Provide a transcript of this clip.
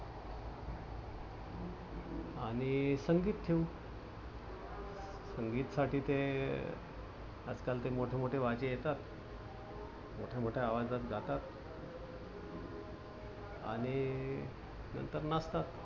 आणि संगीत ठेवू. संगीत साठी ते आजकाल ते मोठ मोठे वाद्य येतात. मोठ्या मोठ्या आवाजात गातात आणि नंतर नाचतात.